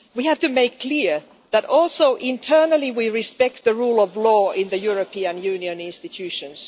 We have to make clear that, also internally, we respect the rule of law in the European Union institutions.